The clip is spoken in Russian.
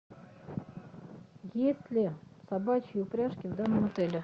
есть ли собачьи упряжки в данном отеле